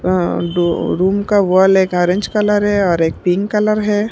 अं room का wall एक orange colour है और एक पिंक कलर है।